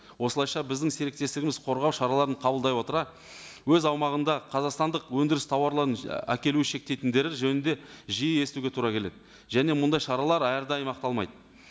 осылайша біздің серіктестігіміз қорғау шараларын қабылдай отыра өз аумағында қазақстандық өндіріс тауарларын әкелу шектейтіндері жөнінде жиі естуге тура келеді және мұндай шаралар әрдайым ақталмайды